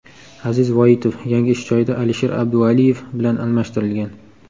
Aziz Voitov yangi ish joyida Alisher Abdualiyev bilan almashtirilgan.